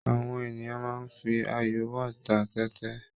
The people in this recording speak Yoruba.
Àwọn ènìyàn máa ń fi ayò whot ta tẹ́tẹ́.